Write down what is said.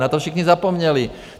Na to všichni zapomněli.